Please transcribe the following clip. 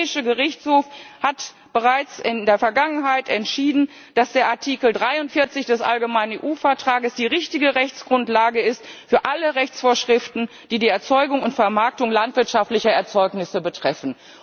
Der Europäische Gerichtshof hat bereits in der Vergangenheit entschieden, dass der Artikel 43 des allgemeinen EU Vertrags die richtige Rechtsgrundlage ist für alle Rechtsvorschriften, die die Erzeugung und Vermarktung landwirtschaftlicher Erzeugnisse betreffen.